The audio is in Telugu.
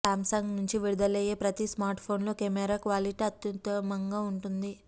సామ్సంగ్ నుంచి విడుదలయ్యే ప్రతి స్మార్ట్ఫోన్లో కెమెరా క్వాలిటీ అత్యుత్తమంగా ఉంటుంది